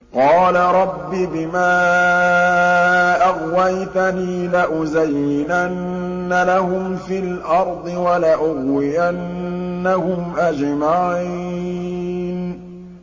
قَالَ رَبِّ بِمَا أَغْوَيْتَنِي لَأُزَيِّنَنَّ لَهُمْ فِي الْأَرْضِ وَلَأُغْوِيَنَّهُمْ أَجْمَعِينَ